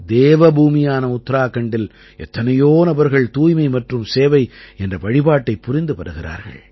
தேவபூமியான உத்தராகண்டில் எத்தனையோ நபர்கள் தூய்மை மற்றும் சேவை என்ற வழிபாட்டைப் புரிந்து வருகிறார்கள்